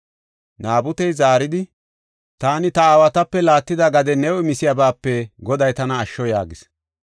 Naabutey zaaridi, “Taani ta aawatape laattida gade new imisiyabaape Goday tana asho” yaagis.